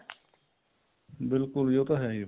ਬਿਲਕੁਲ ਜੀ ਉਹ ਤਾਂ ਹੈ ਹੀ ਹੈ ਫ਼ੇਰ